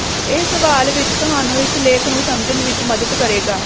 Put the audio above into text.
ਇਹ ਸਵਾਲ ਵਿੱਚ ਤੁਹਾਨੂੰ ਇਸ ਲੇਖ ਨੂੰ ਸਮਝਣ ਵਿੱਚ ਮਦਦ ਕਰੇਗਾ